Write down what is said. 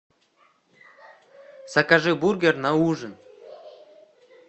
закажи бургер на ужин